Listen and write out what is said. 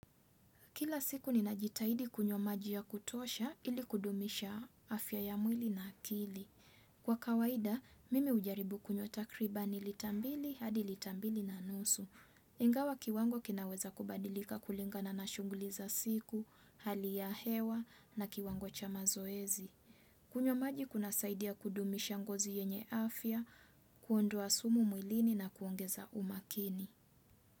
Kila siku ninajitahidi kunywa maji ya kutosha ili kudumisha afya ya mwili na akili. Kwa kawaida, mimi hujaribu kunywa takribani lita mbili hadi lita mbili na nusu. Ingawa kiwango kinaweza kubadilika kulingana na shunguli za siku, hali ya hewa na kiwango cha mazoezi. Kunywa maji kunasaidia kudumisha ngozi yenye afya, kuondoa sumu mwilini na kuongeza umakini.